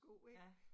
Ja